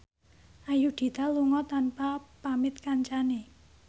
Ayudhita lunga tanpa pamit kancane